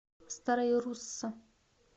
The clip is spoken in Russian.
старая русса